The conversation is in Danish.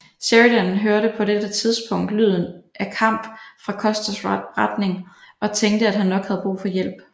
Sheridan hørte på dette tidspunkt lyden af kamp fra Custers retning og tænkte at han nok havde brug for hjælp